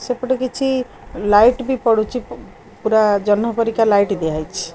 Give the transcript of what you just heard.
ସେପଟେ କିଛି ଲାଇଟ୍ ବି ପଡୁଚି ପ ପୁରା ଜହ୍ନ ପରିକା ଲାଇଟ୍ ଦିଆ ହେଇଛି।